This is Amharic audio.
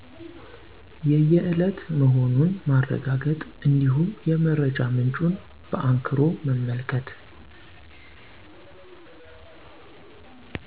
የየእለት መሆኑን ማረጋገጥ እንዲሁም የመረጃ ምንጩን በአንክሮ መመልከት